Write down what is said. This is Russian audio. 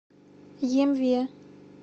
емве